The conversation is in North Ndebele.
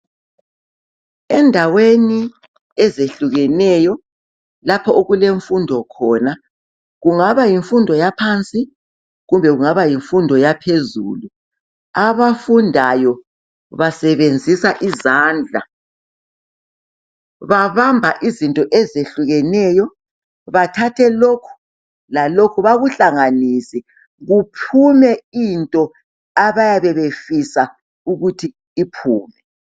Endaweni ezehlukeneyo lapho okulemfundo khona kungaba yimfundo yaphansi, kumbe yimfundo yaphezulu. Abafundayo basebenzisa izandla babamba izinto ezehlukeneyo bathathe lokhu lalokhu bekuhlanganise kuphume into abayabe befisa ukuthi iphume.